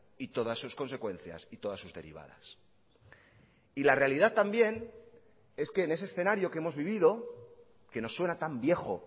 y todas sus consecuencias y todas sus derivadas y la realidad también es que en ese escenario que hemos vivido quenos suena tan viejo